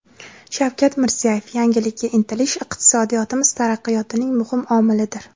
Shavkat Mirziyoyev: Yangilikka intilish iqtisodiyotimiz taraqqiyotining muhim omilidir.